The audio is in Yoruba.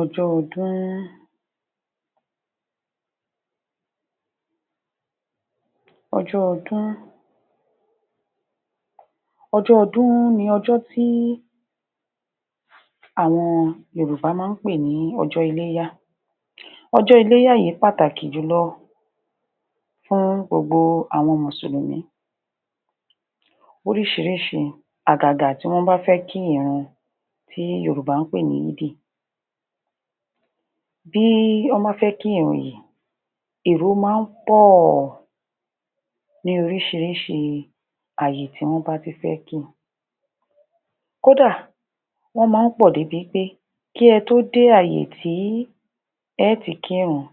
ọjọ́ ọdún ọjọ́ ọdún ọjọ́ ọdún ni ọjó tí àwọn Yorùbá máa ń pè ní ọjọ́ iléyá ọjọ́ iléyá yìí pàtàkì jùlọ fún gbogbo àwọn mùsùlùmí oríṣiríṣi àgàgà tí wọ́n bá fẹ́ kí ìrun èyí tí yorùbá ń pè ní yídì bí wọ́n bá fẹ́ kí ìrun yìí èrò máa ń pọ̀ ní oríṣiríṣi àyè tí wọ́n bá ti fẹ́ ki kódà èrò máa ń pọ̀ dé bi pé kí ẹ tó dé àyè tí ẹ ó ti kírun